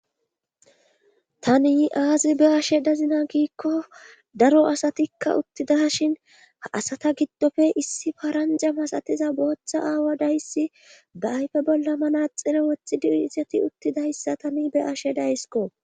Tani aazi be ashe dazina giikko daro asatikka uttida shin ha asata giddofe issi paranja masatiza booththa aawa dayssi baayfe bolla manaaxino wethidi uisati uttidayssa tani be ashe daysko.